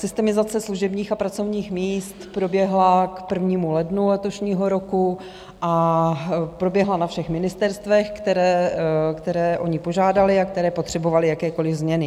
Systemizace služebních a pracovních míst proběhla k 1. lednu letošního roku a proběhla na všech ministerstvech, které o ni požádaly a které potřebovaly jakékoliv změny.